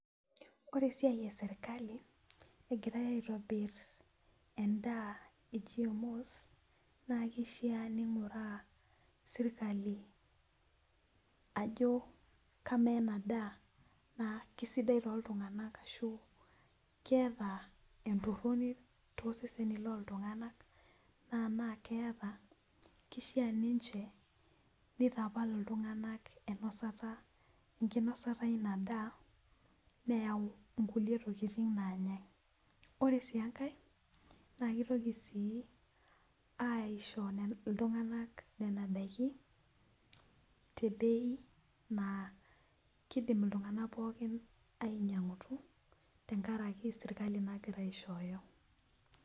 Ore esiai esirkali egirae aitobir, edaa e GMO's naa kishaa ninguraa sirkali, ajo kamaa ena daa. naa kisidai tooltunganak ashu, keeta entoroni toosesenei loltunganak. naa enaa keeta, kishaa ninche nitapal iltunganak enosata ,enkinosata eina daa. neyau nkulie tokitin naanyae. ore sii enkae naa kitoki sii aaisho iltunganak Nena daikin, te beiaa kidim iltunganak pookin ainyianguti tenkaraki sirkali nagira aishooyo.